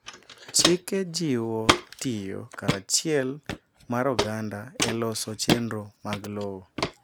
chike jiwo tiyo karachiel mar oganda e loso chenro mag lowo